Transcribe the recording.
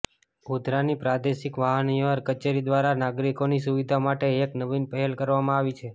ગોધરાની પ્રાદેશિક વાહન વ્યવહાર કચેરી દ્વારા નાગરીકોની સુવિધા માટે એક નવીન પહેલ કરવામાં આવી છે